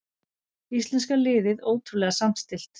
Íslenska liðið ótrúlega samstillt